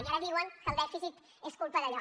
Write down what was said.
i ara diuen que el dèficit és culpa d’allò